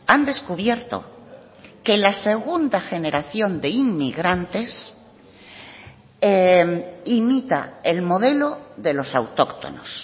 han descubierto que la segunda generación de inmigrantes imita el modelo de los autóctonos